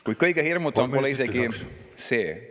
Kuid kõige hirmutavam pole isegi see.